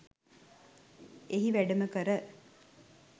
එහි වැඩමකර